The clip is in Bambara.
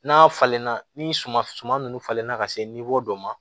N'a falenna ni suma suma nunnu falenna ka se dɔ ma